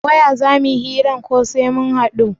A waya za muyi hiran ko sai mun haɗu?